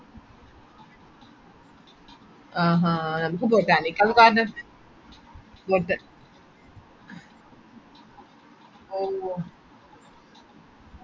ആ ആഹ് അവിടെ എന്തോ ഒര് ബൊട്ടാണിക്കൽ garden കൊഴപ്പില്ല നമക്ക് ഈ ബ് Mysore palace പോലെ Bangalore എന്തോ palace ഇന്ടെ ന്ന് ഞാൻ കേട്ടിട്ടുണ്ട് അങ്ങനെ എന്തേലും ഉണ്ടോ